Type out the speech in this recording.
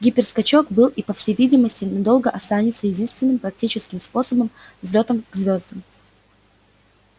гиперскачок был и по всей видимости надолго останется единственным практическим способом взлётам к звёздам